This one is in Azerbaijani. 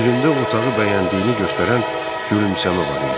Üzündə otağı bəyəndiyini göstərən gülümsəmə var idi.